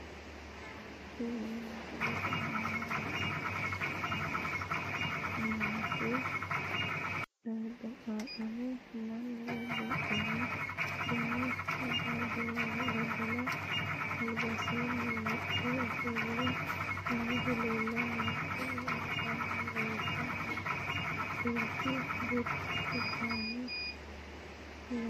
Kuni misilete aana la'nanni noohu daddaloho. mannu babbaxino dani daddalo albansaanni wodhe ofolle noohuno leellanni no. tini albaanni leeltannoti burtukkaanete laalooti.